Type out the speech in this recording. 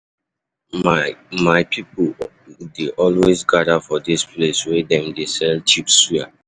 My My people dey always gather for dis place wey dem dey sell cheap suya.